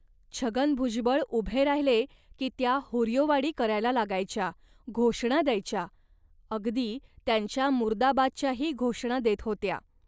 छगन भुजबळ उभे राहिले की त्या हुर्योवाडी करायला लागायच्या, घोषणा द्यायच्या. अगदी त्यांच्या मुर्दाबादच्याही घोषणा देत होत्या